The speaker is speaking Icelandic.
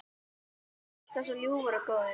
Alltaf svo ljúfur og góður.